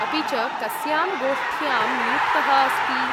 अपि च कस्यां गोष्ठ्यां नियुक्तः अस्ति?